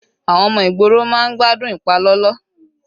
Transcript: Àwọn ọmọ ìgboro máa ń gbádùn ìpalọlọ.